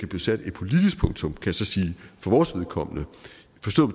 blive sat et politisk punktum for vores vedkommende